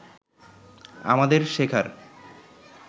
আমাদের শেখার